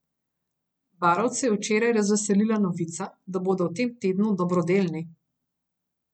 Barovce je včeraj razveselila novica, da bodo v tem tednu dobrodelni.